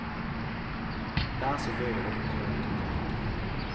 Det er så gøy å hoppe rundt omkring.